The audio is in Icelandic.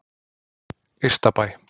Ystabæ